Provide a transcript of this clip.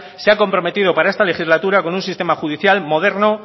se ha comprometido para esta legislatura con un sistema judicial moderno